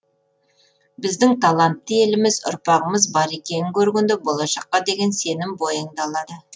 біздің талантты еліміз ұрпағымыз бар екенін көргенде болашаққа деген сенім бойыңды алады